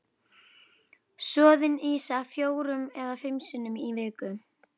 Soðin ýsa fjórum eða fimm sinnum í viku.